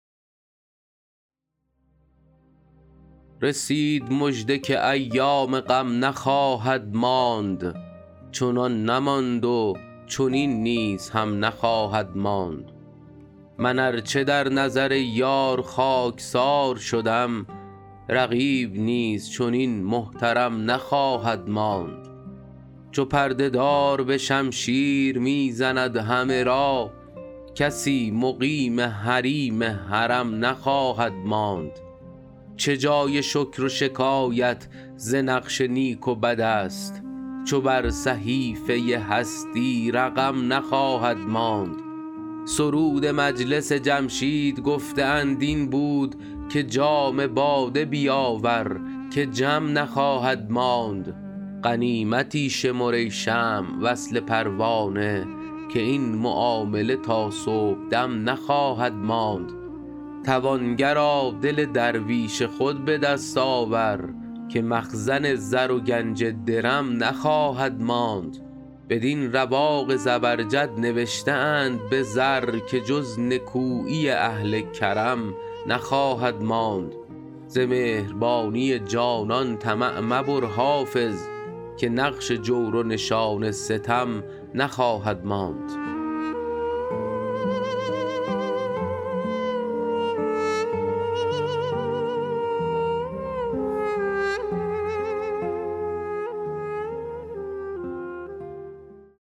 رسید مژده که ایام غم نخواهد ماند چنان نماند چنین نیز هم نخواهد ماند من ار چه در نظر یار خاک سار شدم رقیب نیز چنین محترم نخواهد ماند چو پرده دار به شمشیر می زند همه را کسی مقیم حریم حرم نخواهد ماند چه جای شکر و شکایت ز نقش نیک و بد است چو بر صحیفه هستی رقم نخواهد ماند سرود مجلس جمشید گفته اند این بود که جام باده بیاور که جم نخواهد ماند غنیمتی شمر ای شمع وصل پروانه که این معامله تا صبح دم نخواهد ماند توانگرا دل درویش خود به دست آور که مخزن زر و گنج درم نخواهد ماند بدین رواق زبرجد نوشته اند به زر که جز نکویی اهل کرم نخواهد ماند ز مهربانی جانان طمع مبر حافظ که نقش جور و نشان ستم نخواهد ماند